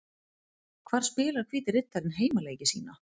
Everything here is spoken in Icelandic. Hvar spilar Hvíti Riddarinn heimaleiki sína?